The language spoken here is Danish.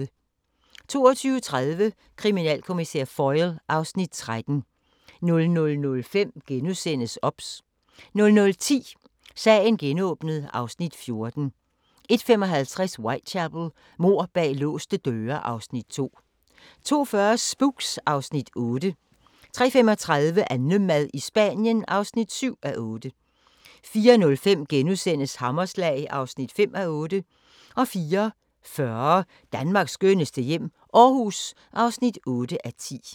22:30: Kriminalkommissær Foyle (Afs. 13) 00:05: OBS * 00:10: Sagen genåbnet (Afs. 14) 01:55: Whitechapel: Mord bag låste døre (Afs. 2) 02:40: Spooks (Afs. 8) 03:35: AnneMad i Spanien (7:8) 04:05: Hammerslag (5:8)* 04:40: Danmarks skønneste hjem - Aarhus (8:10)